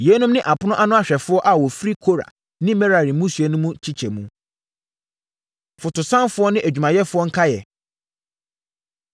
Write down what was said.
Yeinom ne apono ano ahwɛfoɔ a wɔfiri Kora ne Merari mmusua mu no nkyekyɛmu. Fotosanfoɔ Ne Adwumayɛfoɔ Nkaeɛ